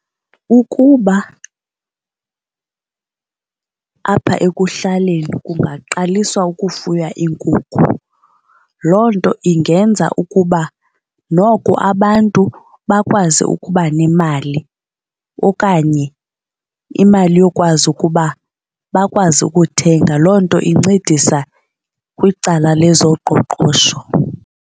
Ukuba apha ekuhlaleni kungaqaliswa ukufuya iinkukhu loo nto ingenza ukuba noko abantu bakwazi ukuba nemali okanye imali yokwazi ukuba bakwazi ukuthenga. Loo nto incedisa kwicala lezoqoqosho.